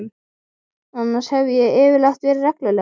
Annars hef ég yfirleitt verið regluleg.